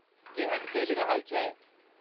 केहन चली रहल छै?